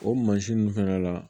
O mansin ninnu fana la